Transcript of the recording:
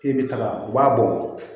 E bɛ taga u b'a bɔ